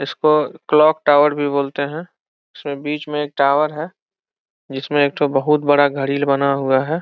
इसको clock tower भी बोलते है। इसके बिच एक टावर भी है। जिसमे एक तो बहुत बड़ा घड़िल बना हुआ है।